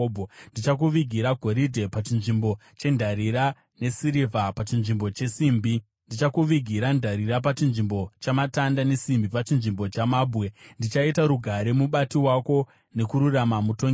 Ndichakuvigira goridhe pachinzvimbo chendarira, nesirivha pachinzvimbo chesimbi. Ndichakuvigira ndarira pachinzvimbo chamatanda, nesimbi pachinzvimbo chamabwe. Ndichaita rugare mubati wako nekururama mutongi wako.